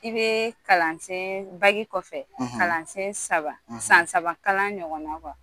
I bɛ kalansen kɔfɛ kalansen saba san saba kalan ɲɔgɔn na